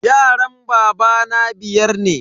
Yaran babana biyar ne.